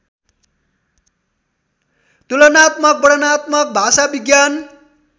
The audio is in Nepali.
तुलनात्मक वर्णनात्मक भाषाविज्ञान